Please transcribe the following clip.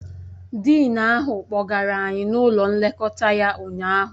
Dịịn ahụ kpọgara anyị n'ụlọ nlekọta ya ụnyaahụ